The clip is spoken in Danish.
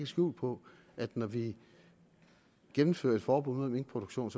skjul på at når vi gennemfører et forbud mod minkproduktion